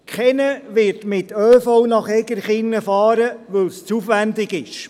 Keiner wird mit ÖV nach Egerkingen fahren, weil es zu aufwendig ist.